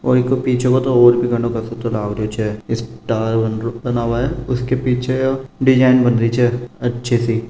और इके पीछे तो और भी घनो कसुतो लाग रो छे स्टार बनरु बनमा उसके पीछे डिजाईन बनरी छे अच्छी सी --